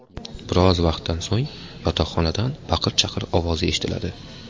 Biroz vaqtdan so‘ng yotoqxonadan baqir-chaqir ovozi eshitiladi.